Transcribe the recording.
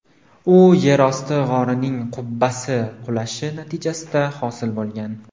U yerosti g‘orining qubbasi qulashi natijasida hosil bo‘lgan.